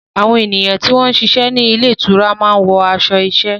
Àwọn ènìyàn tí wọ́n ń ṣiṣẹ́ ní ilé ìtura máa ń wọ aṣọ iṣẹ́.